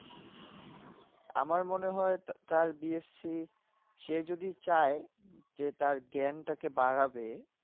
আমার মনে হয় তা তার বিএসসি সে যদি চাই যে তার জ্ঞান টাকে বাড়াবে